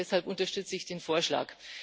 Deshalb unterstütze ich den Vorschlag.